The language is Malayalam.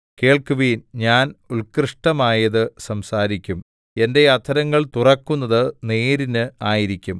കേൾക്കുവിൻ ഞാൻ ഉൽകൃഷ്ടമായത് സംസാരിക്കും എന്റെ അധരങ്ങൾ തുറക്കുന്നത് നേരിന് ആയിരിക്കും